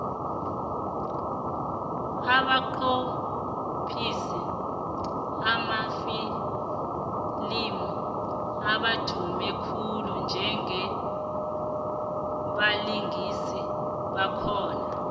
abanqophisi bamafilimu abadumi khulu njengabalingisi bakhona